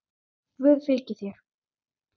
Guð fylgi þér.